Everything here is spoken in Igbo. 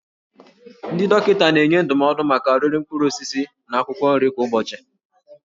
Ndị dọkịta na-enye ndụmọdụ maka oriri mkpụrụ osisi na akwụkwọ nri kwa ụbọchị.